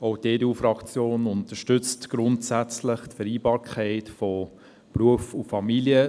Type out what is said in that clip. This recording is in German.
Auch die EDU-Fraktion unterstützt grundsätzlich die Vereinbarkeit von Beruf und Familie.